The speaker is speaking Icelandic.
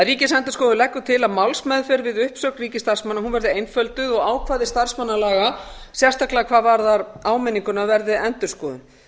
ríkisendurskoðun leggur því til að málsmeðferð við uppsögn ríkisstarfsmanna verði einfölduð og ákvæði starfsmannalaga sérstaklega hvað varðar áminninguna verði endurskoðuð